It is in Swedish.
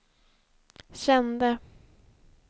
kände